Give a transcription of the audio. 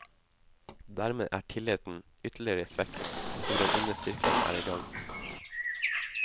Dermed er tilliten ytterligere svekket, og den onde sirkelen er i gang.